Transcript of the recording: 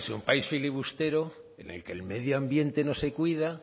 un país filibustero en el que el medio ambiente no se cuida